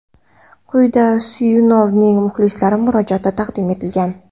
Quyida Suyunovning muxlislarga murojaati taqdim etilgan.